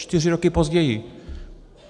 Čtyři roky později.